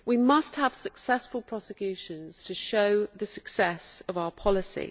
We must have successful prosecutions to show the success of our policy.